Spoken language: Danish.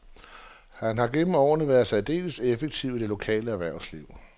Han har gennem årene været særdeles aktiv i det lokale erhvervsliv.